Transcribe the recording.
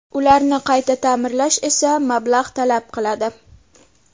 Ularni qayta ta’mirlash esa mablag‘ talab qiladi.